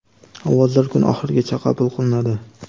Ovozlar kun oxirigacha qabul qilinadi.